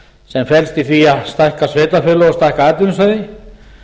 sem felst í því að stækka sveitarfélög og stækka atvinnusvæði